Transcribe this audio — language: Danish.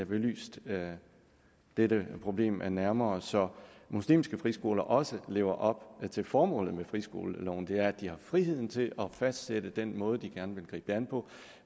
belyst dette problem nærmere så muslimske friskoler også lever op til formålet med friskoleloven som er at de har friheden til at fastsætte den måde de gerne vil gribe det an på